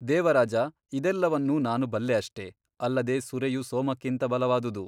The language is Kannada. ದೇವರಾಜ ಇದೆಲ್ಲವನ್ನೂ ನಾನು ಬಲ್ಲೆ ಅಷ್ಟೆ ಅಲ್ಲದೆ ಸುರೆಯು ಸೋಮಕ್ಕಿಂತ ಬಲವಾದುದು.